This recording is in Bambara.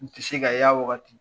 N tɛ se ka y'a wagati.